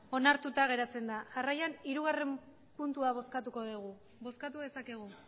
onartuta geratzen da jarraian hirugarren puntua bozkatuko dugu bozkatu dezakegu